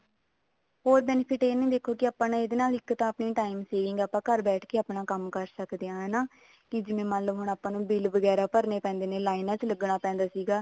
ਹੋਰ benefit ਇਹ ਦੇਖੋ ਜੀ ਇਹਦੇ ਨਾਲ ਆਪਣੇ ਇੱਕ ਤਾਂ time saving ਆ ਇਹਦੇ ਨਾਲ ਆਪਾਂ ਘਰ ਬੈਠ ਕੇ ਕੰਮ ਕਰ ਸਕਦੇ ਹਾਂ ਹਨਾ ਕੀ ਜਿਵੇਂ ਮੰਨਲੋ ਹੁਣ ਆਪਾਂ ਨੂੰ bill ਵਗੈਰਾ ਭਰਨੇ ਪੈਂਦੇ ਨੇ ਲਈਨਾ ਚ ਲੱਗਣਾ ਪੈਂਦਾ ਸੀਗਾ